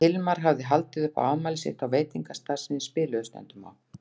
Hilmar hafði haldið upp á afmælið sitt á veitingastað sem þeir spiluðu stundum á.